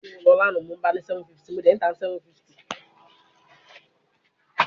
Eniyan ti o nṣe abojuto iyẹwu naa wa ni ayika